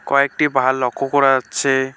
কয়েকটি পাহাড় লক্ষ করা যাচ্ছে।